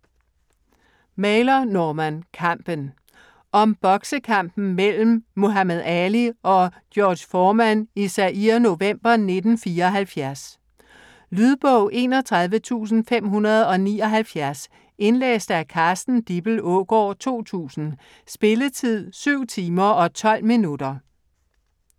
Mailer, Norman: Kampen Om boksekampen mellem Muhammad Ali og George Foreman i Zaire november 1974. Lydbog 31579 Indlæst af Carsten Dippel Aagaard, 2000. Spilletid: 7 timer, 12 minutter.